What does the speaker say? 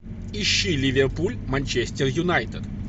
ищи ливерпуль манчестер юнайтед